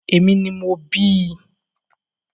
Èmi ni mo bíi